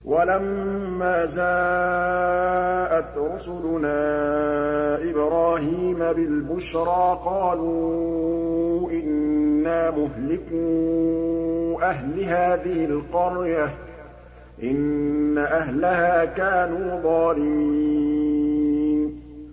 وَلَمَّا جَاءَتْ رُسُلُنَا إِبْرَاهِيمَ بِالْبُشْرَىٰ قَالُوا إِنَّا مُهْلِكُو أَهْلِ هَٰذِهِ الْقَرْيَةِ ۖ إِنَّ أَهْلَهَا كَانُوا ظَالِمِينَ